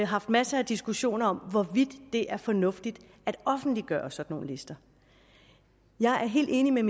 haft masser af diskussioner om hvorvidt det er fornuftigt at offentliggøre sådan nogle lister jeg er helt enig med